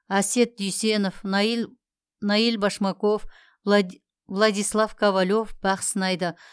асет дүйсенов наиль башмаков владислав ковалев бақ сынайды